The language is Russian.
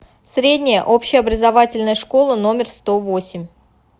средняя общеобразовательная школа номер сто восемь